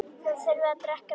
Þið þurfið að drekka meira.